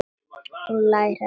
Hún lærði af honum.